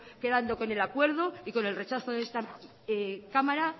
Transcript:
quedando con el acuerdo y con el rechazo de esta cámara